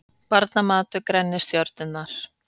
Barnamatur grennir stjörnurnar